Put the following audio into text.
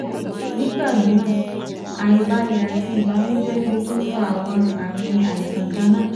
Nigba miiran aibalẹ ati ibanujẹ le tun fa awọn aami aisan kanna